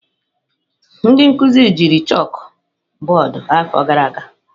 Ndị nkuzi jiri chakụbọọdụ afọ gara aga.